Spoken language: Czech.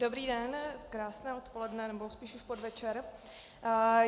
Dobrý den, krásné odpoledne nebo spíš už podvečer.